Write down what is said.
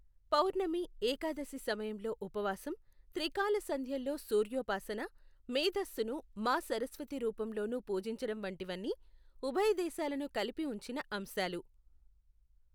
పౌర్ణమి, ఏకాదశి సమయంలో ఉపవాసం, త్రికాల సంధ్యల్లో సూర్యోపాసన, మేథస్సును మా సరస్వతి రూపంలోనూ పూజించడం వంటివన్నీ ఉభయదేశాలను కలిపి ఉంచిన అంశాలు.